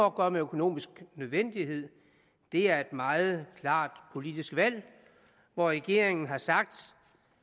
at gøre med økonomisk nødvendighed det er et meget klart politisk valg hvor regeringen har sagt